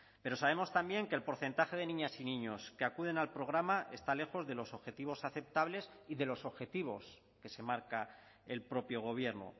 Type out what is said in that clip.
pero sabemos también que el porcentaje de niñas y niños que acuden al programa está lejos de los objetivos aceptables y de los objetivos que se marca el propio gobierno